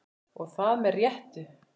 Og það með réttu.